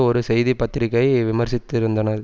ஒரு செய்திபத்திரிகை விமர்சித்திருந்தன